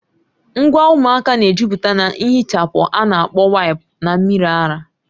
Ngwa ụmụaka na-ejupụta na nhichapụ a na-akpọ waịpụ na mmiri ara